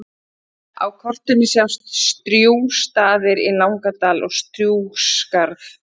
Á kortinu sjást Strjúgsstaðir í Langadal og Strjúgsskarð.